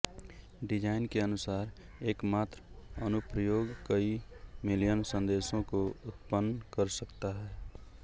design के अनुसार एकमात्र अनुप्रयोग कई मिलियन संदेशों को उत्पन्न कर सकता है